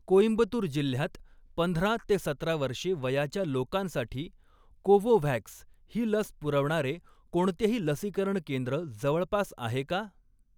कोइंबतूर जिल्ह्यात पंधरा ते सतरा वर्षे वयाच्या लोकांसाठी कोवोव्हॅक्स ही लस पुरवणारे कोणतेही लसीकरण केंद्र जवळपास आहे का?